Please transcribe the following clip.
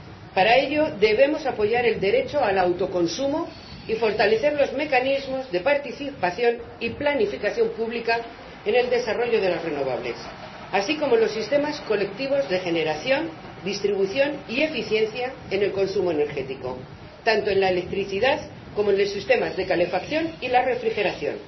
Para ello, debemos apoyar el derecho al autoconsumo y fortalecer los mecanismos de participación y planificación pública en el desarrollo de las renovables, así como los sistemas colectivos de generación, distribución y eficiencia en el consumo energético, tanto en la electricidad como en los sistemas de calefacción y la refrigeración.